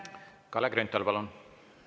Kalle Grünthal, palun!